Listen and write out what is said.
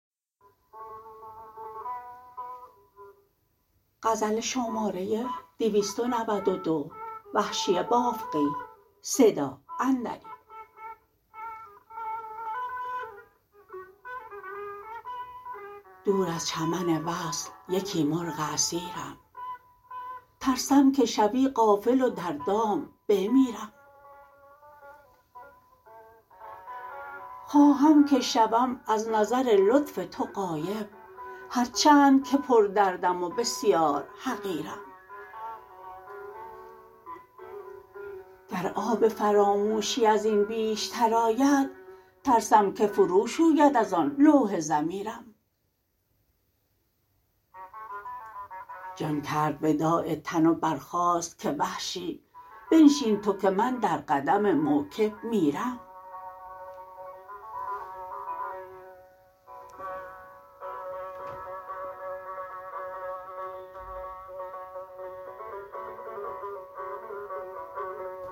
دور از چمن وصل یکی مرغ اسیرم ترسم که شوی غافل و در دام بمیرم خواهم که شوم ازنظر لطف تو غایب هر چند که پر دردم و بسیار حقیرم گر آب فراموشی ازین بیشتر آید ترسم که فرو شوید از آن لوح ضمیرم جان کرد وداع تن و برخاست که وحشی بنشین تو که من در قدم موکب میرم